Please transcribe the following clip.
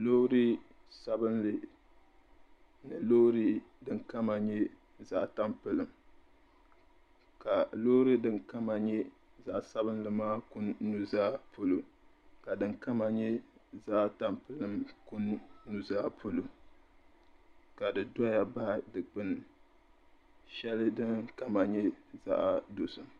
Loori sabilinli ni loori din kama nyɛ zaɣ' tampilim ka loori din kama nyɛ zaɣ' sabilinli maa kuni nuzaa polo ka din kama nyɛ zaɣ' tampilim kuni nuzaa polo ka di zaya baɣi dikpin' shɛli din kama nyɛ zaɣ' dozim.